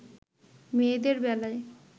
মেয়েদের বেলায়